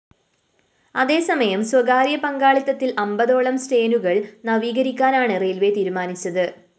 അതേസമയം സ്വകാര്യ പങ്കാളിത്തത്തില്‍ അമ്പതോളം സ്‌റ്റേനുകള്‍ നവീകരിക്കാനാണ് റെയിൽവേസ്‌ തീരുമാനിച്ചത്